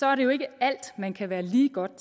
er det jo ikke alt man kan være lige godt